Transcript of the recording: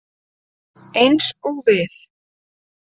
Eins og við.